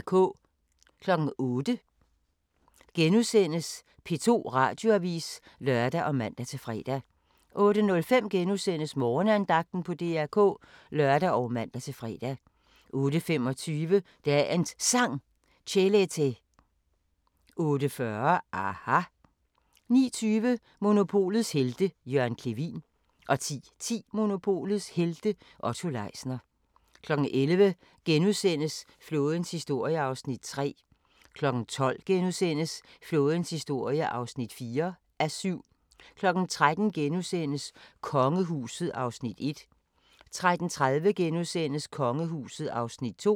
08:00: P2 Radioavis *(lør og man-fre) 08:05: Morgenandagten på DR K *(lør og man-fre) 08:25: Dagens Sang: Chelete 08:40: aHA! 09:20: Monopolets Helte – Jørgen Clevin 10:10: Monopolets Helte – Otto Leisner 11:00: Flådens historie (3:7)* 12:00: Flådens historie (4:7)* 13:00: Kongehuset (Afs. 1)* 13:30: Kongehuset (Afs. 2)*